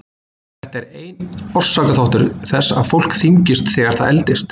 Þetta er einn orsakaþáttur þess að fólk þyngist þegar það eldist.